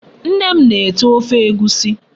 Nne m na-ete Ofe Egwusi